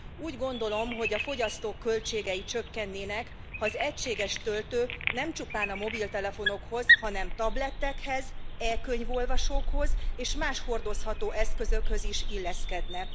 Úgy gondolom, hogy a fogyasztók költségei csökkennének, ha az egységes töltő nem csupán a mobiltelefonokhoz, hanem tabletekhez, e könyvolvasókhoz és más hordozható eszközökhöz is illeszkedne.